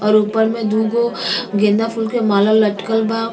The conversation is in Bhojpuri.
और ऊपर मे दूगो गेंदा फूल के माला लटकल बा।